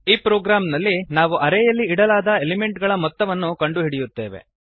ಈ ಪ್ರೊಗ್ರಾಮ್ ನಲ್ಲಿ ನಾವು ಅರೇಯಲ್ಲಿ ಇಡಲಾದ ಎಲಿಮೆಂಟ್ ಗಳ ಮೊತ್ತವನ್ನು ಕಂಡುಹಿಡಿಯುತ್ತೇವೆ